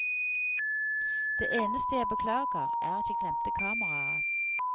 Det eneste jeg beklager er at jeg glemte kameraet.